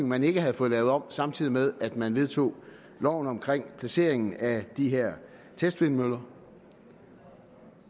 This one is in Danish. man ikke havde fået lavet om samtidig med at man vedtog loven om placeringen af de her testvindmøller